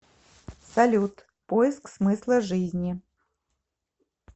салют поиск смысла жизни